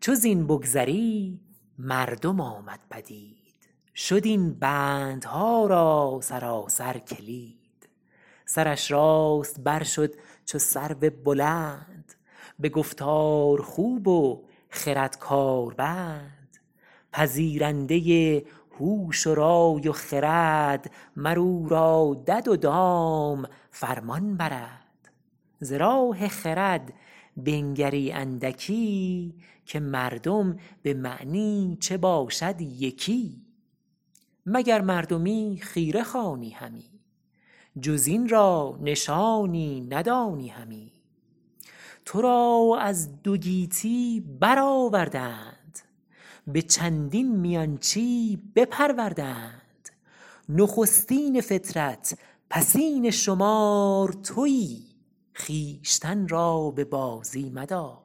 چو زین بگذری مردم آمد پدید شد این بندها را سراسر کلید سرش راست بر شد چو سرو بلند به گفتار خوب و خرد کار بند پذیرنده هوش و رای و خرد مر او را دد و دام فرمان برد ز راه خرد بنگری اندکی که مردم به معنی چه باشد یکی مگر مردمی خیره خوانی همی جز این را نشانی ندانی همی تو را از دو گیتی بر آورده اند به چندین میانچی بپرورده اند نخستین فطرت پسین شمار تویی خویشتن را به بازی مدار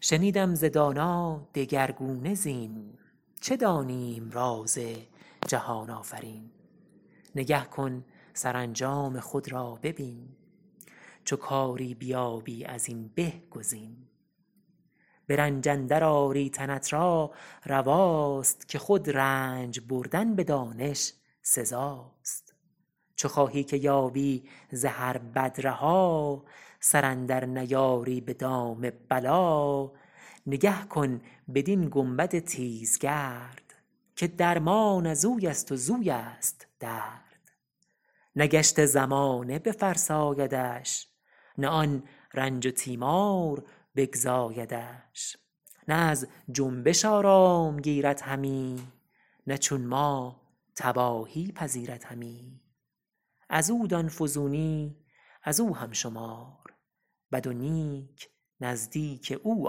شنیدم ز دانا دگرگونه زین چه دانیم راز جهان آفرین نگه کن سرانجام خود را ببین چو کاری بیابی از این به گزین به رنج اندر آری تنت را رواست که خود رنج بردن به دانش سزاست چو خواهی که یابی ز هر بد رها سر اندر نیاری به دام بلا نگه کن بدین گنبد تیزگرد که درمان ازوی است و زویست درد نه گشت زمانه بفرسایدش نه آن رنج و تیمار بگزایدش نه از جنبش آرام گیرد همی نه چون ما تباهی پذیرد همی از او دان فزونی از او هم شمار بد و نیک نزدیک او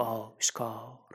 آشکار